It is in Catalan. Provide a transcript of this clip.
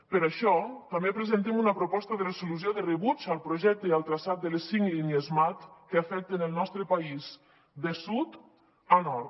per això també presentem una proposta de resolució de rebuig al projecte i al traçat de les cinc línies mat que afecten el nostre país de sud a nord